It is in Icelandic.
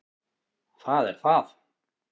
Það er það